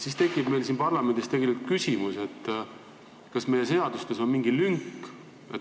Siis tekib meil siin parlamendis küsimus, kas meie seadustes on mingi lünk.